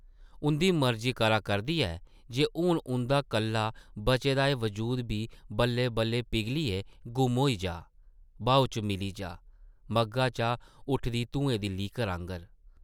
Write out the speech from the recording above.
उंʼदी मर्जी करा करदी ऐ जे हून उंʼदा कल्ला बचे दा एह् वजूद दी बल्लै-बल्लै पिरघलियै गुम्म होई जाऽ, ब्हाऊ च मिली जाऽ, मग्घा चा उठदी धुएं दी लीकर आंगर ।